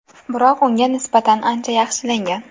Biroq unga nisbatan ancha yaxshilangan.